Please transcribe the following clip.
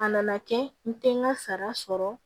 A nana kɛ n tɛ n ka sara sɔrɔ